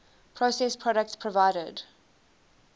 processed products provided